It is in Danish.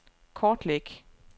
kortlæg